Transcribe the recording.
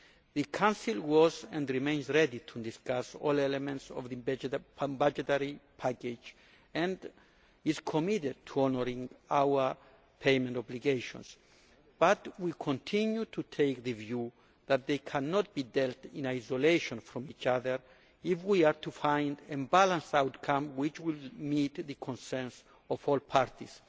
The Council was and is ready to discuss all elements of the budgetary package and is committed to honouring our payment obligations, but we continue to take the view that they cannot be dealt with in isolation from each other if we are to find a balanced outcome which will meet the concerns of all parties.